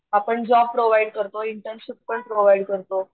आपण job provide करतो internship पण प्रोव्हाइड करतो.